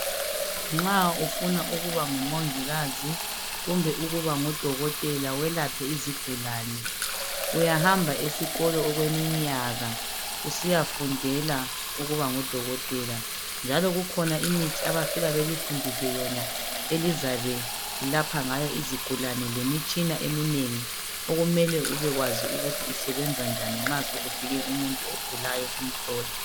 Nxa ufuna ukuba ngumongikazi kumbe ukuba udokotela welaphe izigulani uyahamba esikolo okweminyaka usiyafundela ukuba ngudokotela njalo kukhona imithi abafika belifundise yona elizabe lilapha ngayo izigulane lemitshina eminengi okumele ube kwazi ukuthi isebenza njani nxa sokufike umuntu ogulayo usumhlola.